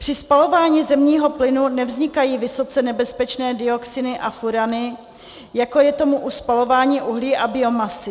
Při spalování zemního plynu nevznikají vysoce nebezpečné dioxiny a furany, jako je tomu u spalování uhlí a biomasy.